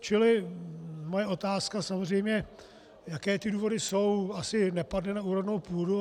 Čili moje otázka samozřejmě, jaké ty důvody jsou, asi nepadne na úrodnou půdu.